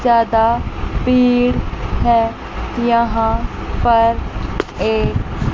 ज्यादा भीड़ है यहां पर एक--